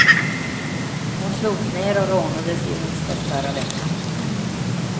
Hon slogs ner och rånades i onsdags förra veckan.